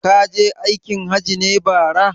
Kaje aikin hajji ne bara?